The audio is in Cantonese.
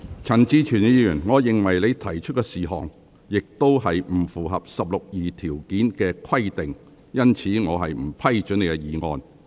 陳志全議員，我認為你提出的事項，亦不符合《議事規則》第162條的規定，因此我不批准你的議案。